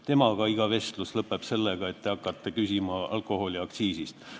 Tema puhul iga vestlus lõpeb sellega, et te hakkate küsima alkoholiaktsiisi kohta.